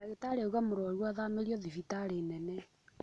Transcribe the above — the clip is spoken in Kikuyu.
Ndagĩtarĩ auga mũrwaru athamĩrio thibitarĩ nene